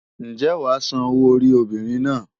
Ǹjẹ́ wàá San owó orí obìnrin náà?